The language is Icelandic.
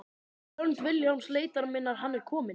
Hönd Vilhjálms leitar minnar Hann er kominn.